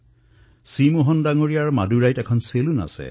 C মোহনৰ মাডুৰাইত এখন চেলুন আছে